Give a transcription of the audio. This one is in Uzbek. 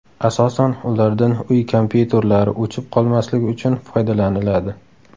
Asosan ulardan uy kompyuterlari o‘chib qolmasligi uchun foydalaniladi.